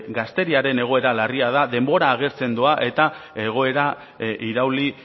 gazteriaren egoera larria da denbora agortzen doa eta egoera irauli